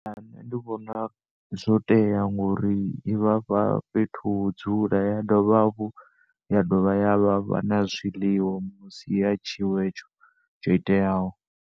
Ṋne ndi vhona zwo tea ngori i vhafha fhethu ho dzula ya dovha hafhu ya dovha ya vhafha na zwiḽiwa misi ya tshiwo hetsho tshoiteaho.